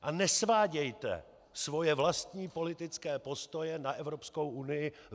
A nesvádějte svoje vlastní politické postoje na Evropskou unii.